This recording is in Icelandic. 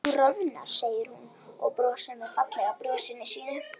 Þú roðnar, segir hún og brosir fallega brosinu sínu.